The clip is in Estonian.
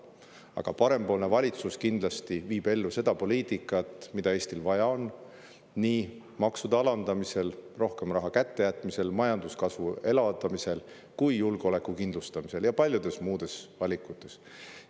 Aga parempoolne valitsus viib ellu seda poliitikat, mida Eestil vaja on, nii makse alandades, rohkem raha kätte jättes, majanduskasvu elavdades kui ka julgeolekut kindlustades, samuti paljusid muid valikuid tehes.